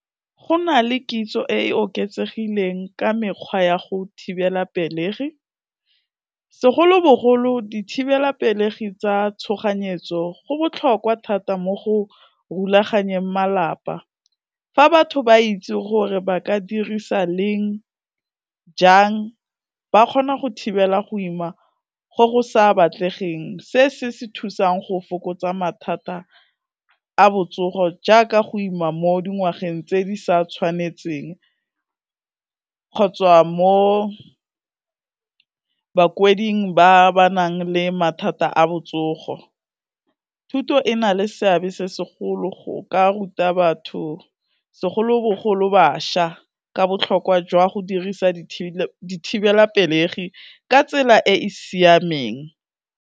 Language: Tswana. Go na le kitso e e oketsegileng ka mekgwa ya go thibela pelegi, segolobogolo dithibelapelegi tsa tshoganyetso go botlhokwa thata mo go rulaganyeng malapa. Fa batho ba itse gore ba ka dirisa leng, jang, ba kgona go thibela go ima go go sa batlegeng, se se thusang go fokotsa mathata a botsogo jaaka go ima mo dingwageng tse di sa tshwanetseng kgotsa mo bakwading ba ba nang le mathata a botsogo, thuto e na le seabe se segolo go ka ruta batho segolobogolo bašwa ka botlhokwa jwa go dirisa dithibelapelegi ka tsela e e siameng.